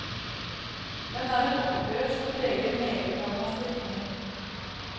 Den er et oppgjør som preger meget av hans diktning.